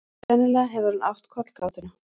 Sennilega hefur hann átt kollgátuna.